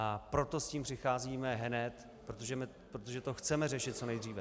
A proto s tím přicházíme hned, protože to chceme řešit co nejdříve.